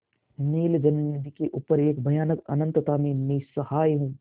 नील जलनिधि के ऊपर एक भयानक अनंतता में निस्सहाय हूँ